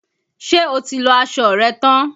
Ṣé o ti lọ aṣọ rẹ tán?